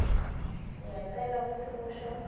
uyacelwa kutsi usho